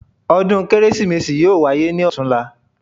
Ọdún Kérésìmesì yóò wáyé ní ọ̀tunla